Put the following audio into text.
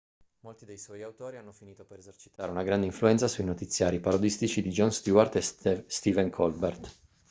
molti dei suoi autori hanno finito per esercitare una grande influenza sui notiziari parodistici di jon stewart e stephen colbert